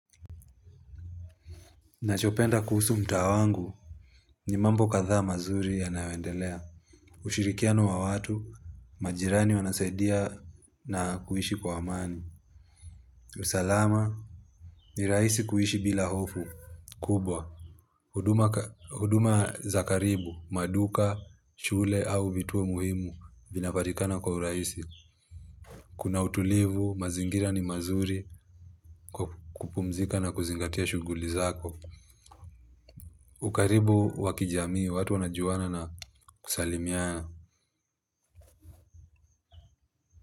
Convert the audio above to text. Nachopenda kuhusu mtaa wangu ni mambo kadhaa mazuri yanayoendelea. Ushirikiano wa watu, majirani wanasadia na kuishi kwa amani. Usalama, ni rahisi kuishi bila hofu, kubwa. Huduma za karibu, maduka, shule au vituo muhimu, vinapatikana kwa urahisi. Kuna utulivu, mazingira ni mazuri kupumzika na kuzingatia shughuli zako. Ukaribu wa kijamii watu wanajuana na kusalimiana.